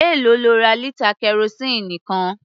Èlòó lo ra lítà kẹrosíìnì kan?